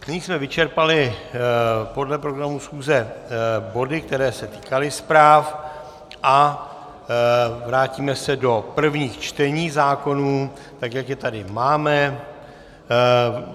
Nyní jsme vyčerpali podle programu schůze body, které se týkaly zpráv, a vrátíme se do prvních čtení zákonů, tak jak je tady máme.